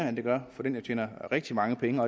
end de gør for dem der tjener rigtig mange penge